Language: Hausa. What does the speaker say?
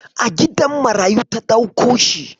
A gidan marayu ta dauko shi.